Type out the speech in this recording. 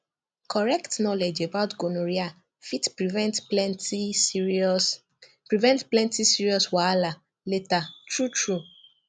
correct knowledge about gonorrhea fit prevent plenty serious prevent plenty serious wahala later true true